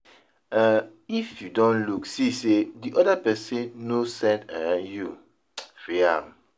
um if you don look see sey di oda person no send um you, free am